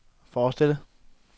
forestille